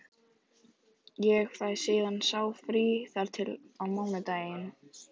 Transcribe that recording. Ég fæ síðan sá frí þar til á mánudaginn.